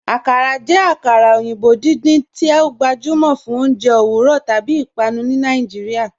Akàrà jẹ akara oyinbo̩ dídíń tí o gbajúmọ fún ọ̀unjẹ̀ owurọ̀ tábí ìpànù ni Nàìjíríà.